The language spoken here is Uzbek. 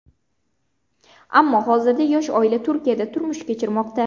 Ammo hozirda yosh oila Turkiyada turmush kechirmoqda.